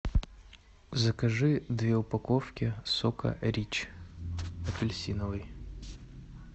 закажи две упаковки сока рич апельсиновый